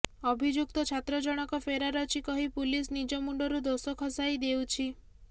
ଅଭିଯୁକ୍ତ ଛାତ୍ର ଜଣକ ଫେରାର ଅଛି କହି ପୁଲିସ ନିଜ ମୁଣ୍ଡରୁ ଦୋଷ ଖସାଇ ଦେଉଛି